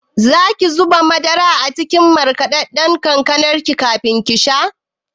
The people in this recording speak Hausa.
Zaki zuba madara a cikin markaɗaɗɗan kankanar kafin kisha?